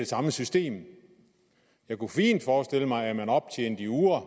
samme system jeg kunne fint forestille mig at man optjente i uger